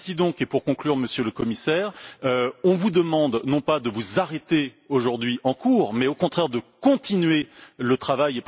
Ainsi donc, et pour conclure, Monsieur le Commissaire, nous vous demandons non pas de vous arrêter, aujourd'hui, en cours, mais au contraire de continuer le travail.